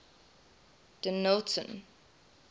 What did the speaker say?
dennilton